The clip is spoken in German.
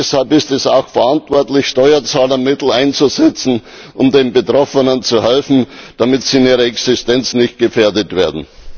Deshalb ist es auch verantwortlich, Steuerzahlermittel einzusetzen, um den Betroffenen zu helfen, damit sie in ihrer Existenz nicht gefährdet werden.